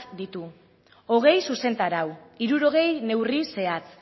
ditu hogei zuzentarau hirurogei neurri zehatz